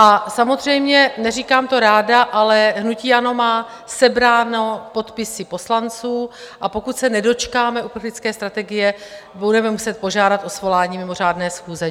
A samozřejmě, neříkám to ráda, ale hnutí ANO má sebrány podpisy poslanců, a pokud se nedočkáme uprchlické strategie, budeme muset požádat o svolání mimořádné schůze.